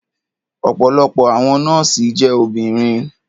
Ọ̀pọ̀lọpọ̀ àwọn nọ́ọ̀sì jẹ́ obìnrin.